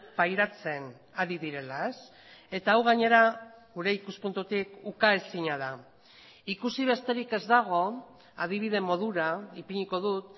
pairatzen ari direla eta hau gainera gure ikuspuntutik ukaezina da ikusi besterik ez dago adibide modura ipiniko dut